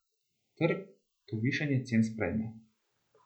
Trg to višanje cen sprejme.